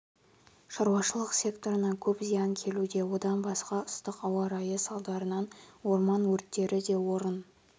шаруашылық секторына көп зиян келуде одан басқа ыстық ауа райы салдарынан орман өрттері де орын